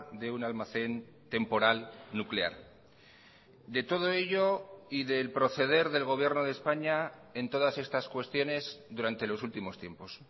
de un almacén temporal nuclear de todo ello y del proceder del gobierno de españa en todas estas cuestiones durante los últimos tiempos